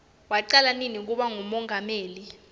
wacala nini kuba ngumongameli